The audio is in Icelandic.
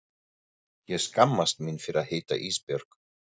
Ég skammast mín fyrir að heita Ísbjörg.